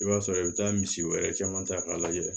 I b'a sɔrɔ i bɛ taa misi wɛrɛ caman ta k'a lajɛ